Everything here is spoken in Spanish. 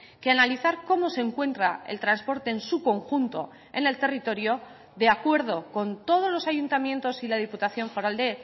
que analizar cómo se encuentra el transporte en su conjunto en el territorio de acuerdo con todos los ayuntamientos y la diputación foral de